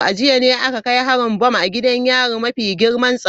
A jiya ne aka kai harin bam a gidan yarin mafi girman tsaro.